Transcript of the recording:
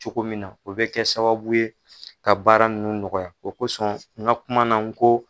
Cogo min na o bɛ kɛ sababu ye ka baara ninnu nɔgɔya o kosɔn n ka kuma na n ko